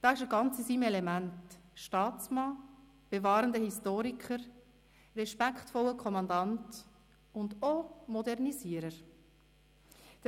Da ist er ganz in seinem Element: Staatsmann, bewahrender Historiker, respektvoller Kommandant und auch Modernisierer.